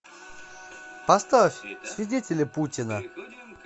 поставь свидетели путина